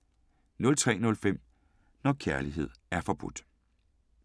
03:05: Når kærlighed er forbudt